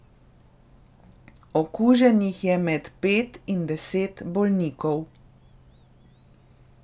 Okuženih je med pet in deset bolnikov.